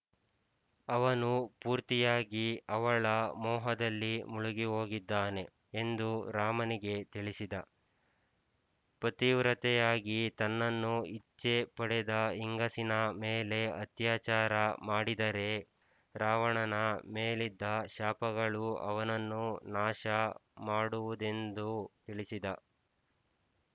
ಅವನು ಪೂರ್ತಿಯಾಗಿ ಅವಳ ಮೋಹದಲ್ಲಿ ಮುಳುಗಿಹೋಗಿದ್ದಾನೆ ಎಂದು ರಾಮನಿಗೆ ತಿಳಿಸಿದ ಪತಿವ್ರತೆಯಾಗಿ ತನ್ನನ್ನು ಇಚ್ಛೆ ಪಡದ ಹೆಂಗಸಿನ ಮೇಲೆ ಅತ್ಯಾಚಾರ ಮಾಡಿದರೆ ರಾವಣನ ಮೇಲಿದ್ದ ಶಾಪಗಳು ಅವನನ್ನು ನಾಶ ಮಾಡುವುದೆಮ್ದು ತಿಳಿಸಿದ